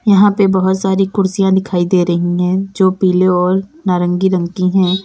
यहां पे बहुत सारी कुर्सियां दिखाई दे रही हैं जो पीले और नारंगी रंग की है।